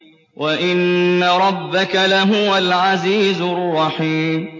وَإِنَّ رَبَّكَ لَهُوَ الْعَزِيزُ الرَّحِيمُ